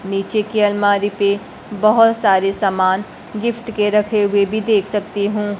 नीचे की अलमारी पे बहुत सारे सामान गिफ्ट के रखे हुए भी देख सकती हूं।